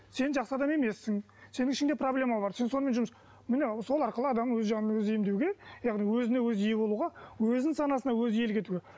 сен жақсы адам емессің сенің ішіңде проблема бар сен сонымен жұмыс міне сол арқылы адам өз жанын өзі емдеуге яғни өзіне өзі ие болуға өзінің санасына өзі иелік етуге